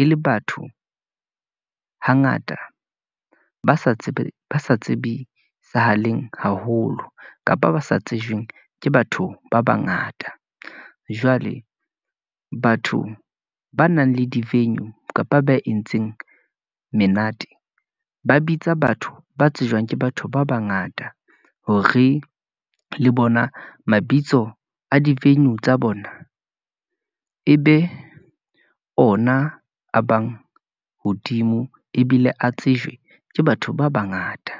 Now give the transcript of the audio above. e le batho hangata, ba sa tsibisahaleng haholo, kapa ba sa tsejweng ke batho ba bangata. Jwale batho ba nang le di-venue, kapa ba entseng menate, ba bitsa batho ba tsejwang ke batho ba bangata, hore le bona bitso a di-venue tsa bona , e be ona a bang hodimo, ebile a tsejwe ke batho ba bangata.